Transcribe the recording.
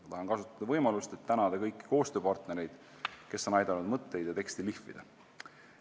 Ma tahan kasutada võimalust ja tänada kõiki koostööpartnereid, kes on aidanud mõtteid ja teksti lihvida.